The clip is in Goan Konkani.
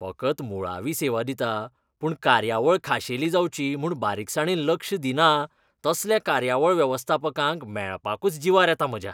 फकत मुळावी सेवा दिता, पूण कार्यावळ खाशेली जावची म्हूण बारीकसाणेन लक्ष दिना तसल्या कार्यावळ वेवस्थापकांक मेळपाकूच जिवार येता म्हज्या.